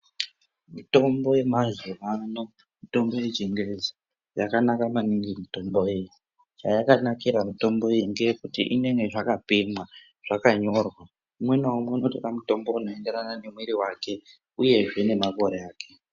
Mitombo yemazuvaano mitombo yechingezi yakanaka maningi mitombo iyi chayakanakira mitombo iyi ngeekuti inenge zvakapimwa zvakanyorwa umwe naumwe unotora mutombo unoenderana nemwiri wake uyezve nemakore ake.